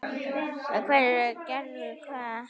Hverjir gerðu hvað?